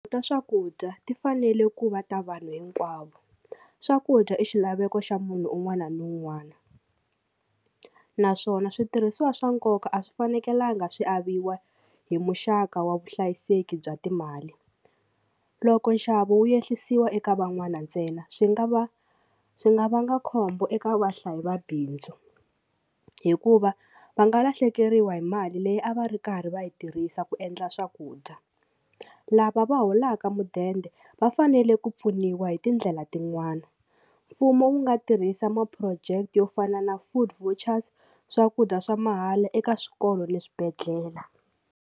Ta swakudya ti fanele ku va ta vanhu hinkwavo swakudya i xilaveko xa munhu un'wana na un'wana naswona switirhisiwa swa nkoka a swi fanekelanga swi aviwa hi muxaka wa vuhlayiseki bya timali loko nxavo wu ehlisiwa eka van'wana ntsena swi nga va swi nga vanga khombo eka vahlayi va bindzu hikuva va nga lahlekeriwa hi mali leyi a va ri karhi va yi tirhisa ku endla swakudya lava va holaka mudende va fanele ku pfuniwa hi tindlela tin'wana mfumo wu nga tirhisa ma-project yo fana na food vouchers swakudya swa mahala eka swikolo na swibedhlele.